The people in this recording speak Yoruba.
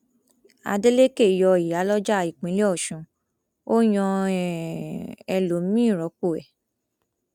adeleke yọ ìyálójà ìpínlẹ ọṣún ó yan um ẹlòmíín rọpò ẹ